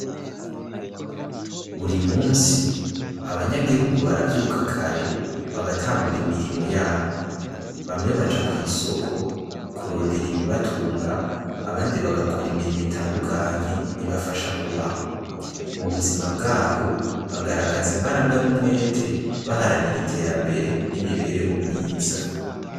Buri munsi abanyagihugu baravyuka kare bagatangura imirimo yabo bamwe baja kwisoko kurondera ibi batunga abandi bagakora imirimo itandukanye ibafasha kubaho. Mubuzima bwabo bagaragaza imbaraga n' umwete baharanira iterambere n' imibereho myiza.